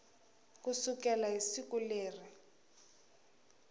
ku sukela hi siku leri